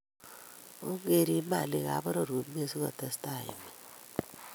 Ong'rib malikab poror komie asikotastai emet